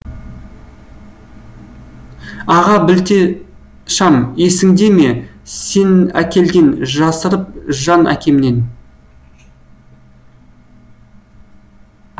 а ғабілте шам есіңде ме сенәкелген жасырып жан әкемнен